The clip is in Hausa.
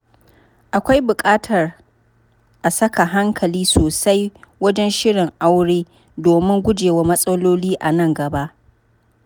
Akwai buƙatar a saka hankali sosai wajen shirin aure domin gujewa matsaloli a nan gaba.